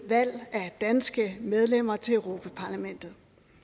valg af danske medlemmer til europa parlamentet